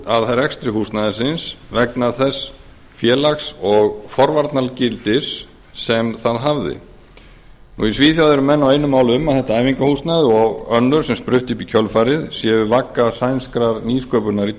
að rekstri húsnæðisins vegna þess félags og forvarnagildis sem það hafði í svíþjóð eru menn á einu máli um að þetta æfingahúsnæði og önnur sem spruttu upp í kjölfarið séu vagga sænskrar nýsköpunar í